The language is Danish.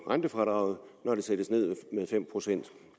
rentefradraget når det sættes ned med fem procent